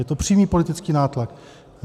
Je to přímý politický nátlak.